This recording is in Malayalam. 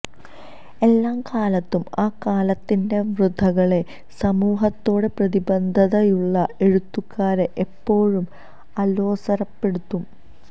എല്ലാ കാലത്തും ആ കാലത്തിന്റെ വ്യഥകളെ സമൂഹത്തോട് പ്രതിബദ്ധതയുള്ള എഴുത്തുകാരെ എപ്പോഴും അലോസരപ്പെടുത്തും